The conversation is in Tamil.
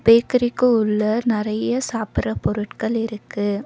பேக்கரிக்கு உள்ள நெறைய சாப்பிட்ரா பொருட்கள் இருக்கு.